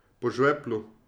Po žveplu.